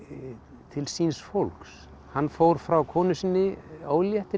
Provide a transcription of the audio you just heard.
til síns fólks hann fór frá konu sinni